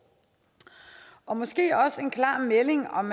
og måske også en klar melding om